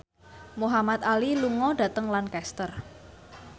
Muhamad Ali lunga dhateng Lancaster